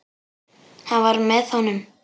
Hann var með honum!